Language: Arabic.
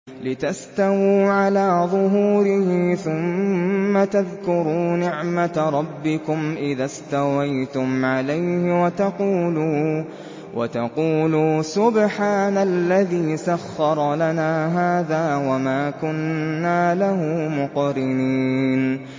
لِتَسْتَوُوا عَلَىٰ ظُهُورِهِ ثُمَّ تَذْكُرُوا نِعْمَةَ رَبِّكُمْ إِذَا اسْتَوَيْتُمْ عَلَيْهِ وَتَقُولُوا سُبْحَانَ الَّذِي سَخَّرَ لَنَا هَٰذَا وَمَا كُنَّا لَهُ مُقْرِنِينَ